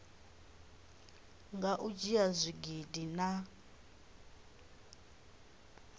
nga u dzhia zwigidi na